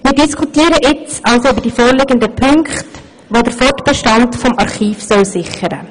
Wir diskutieren jetzt also über die vorliegenden Punkte, die den Fortbestand des Archivs sichern sollen.